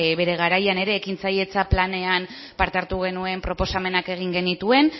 bere garaian ere ekintzailetza planean parte hartu genuen proposamenak egin genituen